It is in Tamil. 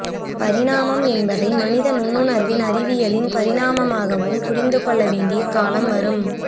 பரிணாமம் என்பதை மனித நுண்ணுணர்வின் அறவியலின் பரிணாமமாகவும் புரிந்துகொள்ள வேண்டிய காலம் வரும்